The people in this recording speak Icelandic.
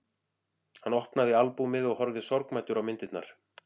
Hann opnaði albúmið og horfði sorgmæddur á myndirnar.